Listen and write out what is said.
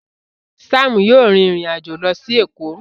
Sam yíò rìn ìrin àjọ ló sì Eko